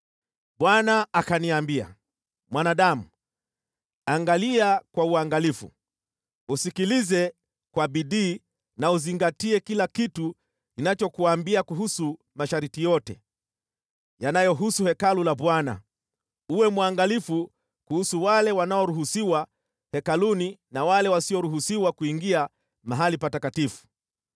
Bwana akaniambia, “Mwanadamu, angalia kwa uangalifu, usikilize kwa bidii na uzingatie kila kitu ninachokuambia kuhusu masharti yote yanayohusu Hekalu la Bwana . Uwe mwangalifu kuhusu wale wanaoruhusiwa hekaluni na wale wasioruhusiwa kuingia mahali patakatifu.